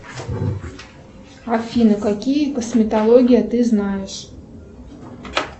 афина какие косметологии ты знаешь